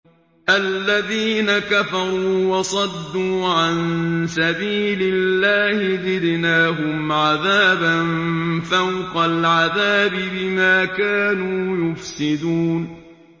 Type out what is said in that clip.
الَّذِينَ كَفَرُوا وَصَدُّوا عَن سَبِيلِ اللَّهِ زِدْنَاهُمْ عَذَابًا فَوْقَ الْعَذَابِ بِمَا كَانُوا يُفْسِدُونَ